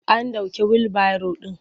An ɗauke wilbaro ɗin.